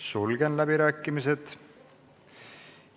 Sulgen läbirääkimised.